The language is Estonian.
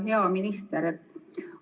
Hea minister!